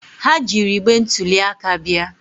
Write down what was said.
Ha jiiri igbe ntuli aka bịa.